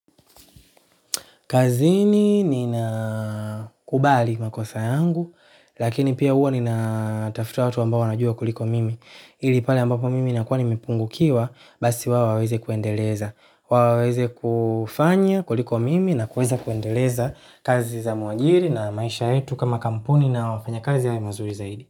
Kazini ninakubali makosa yangu, lakini pia huwa ninatafuta watu ambao wanajua kuliko mimi. Ili pale ambapo mimi nakuwa nimepungukiwa, basi wao waweze kuendeleza. Waweze kufanya kuliko mimi na kuweza kuendeleza kazi za muajiri na maisha yetu kama kampuni na wafanya kazi yawe mazuri zaidi.